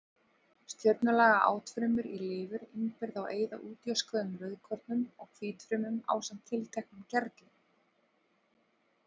Stjörnulaga átfrumur í lifur innbyrða og eyða útjöskuðum rauðkornum og hvítfrumum ásamt tilteknum gerlum.